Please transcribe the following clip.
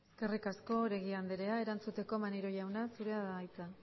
eskerrik asko oregi andrea erantzuteko maneiro jauna zurea da hitza